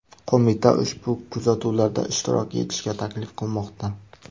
Qo‘mita ushbu kuzatuvlarda ishtirok etishga taklif qilmoqda .